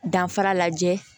Danfara lajɛ